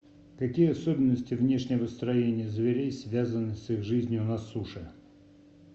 какие особенности внешнего строения зверей связаны с их жизнью на суше